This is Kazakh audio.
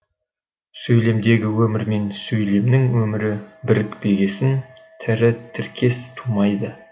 сөйлемдегі өмір мен сөйлемнің өмірі бірікпегесін тірі тіркес тумайды